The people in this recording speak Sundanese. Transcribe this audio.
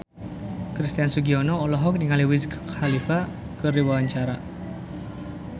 Christian Sugiono olohok ningali Wiz Khalifa keur diwawancara